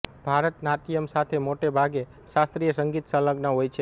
ભારતનાટ્યમ સાથે મોટે ભાગે શાસ્ત્રીય સંગીત સંલગ્ન હોય છે